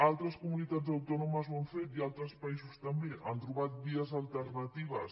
altres comunitats autònomes ho han fet i altres països també han trobat vies alternatives